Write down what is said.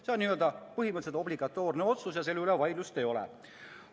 See on n-ö põhimõtteliselt obligatoorne otsus ja selle üle vaidlust ei ole.